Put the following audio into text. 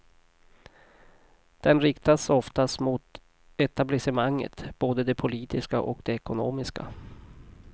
Den riktas oftast mot etablissemanget, både det politiska och det ekonomiska.